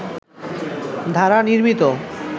দ্বারা নির্মিত